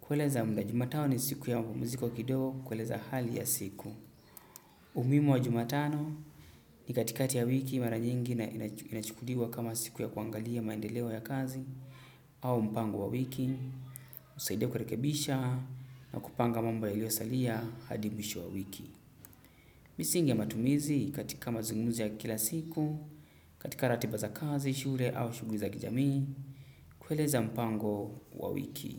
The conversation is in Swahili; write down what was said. Kueleza mda jumatano ni siku ya mapumziko kidogo, kueleza hali ya siku. Umuhimu wa jumatano ni katikati ya wiki mara nyingi na inachukuliwa kama siku ya kuangalia maendeleo ya kazi au mpango wa wiki, husaidia kurekebisha na kupanga mambo yaliosalia hadi mwisho wa wiki. Misingi ya matumizi katika mazungumzi ya kila siku, katika ratiba za kazi, shule au shughuli za kijamii kueleza mpango wa wiki.